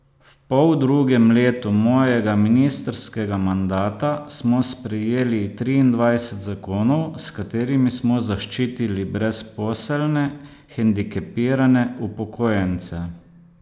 V poldrugem letu mojega ministrskega mandata smo sprejeli triindvajset zakonov, s katerimi smo zaščitili brezposelne, hendikepirane, upokojence ...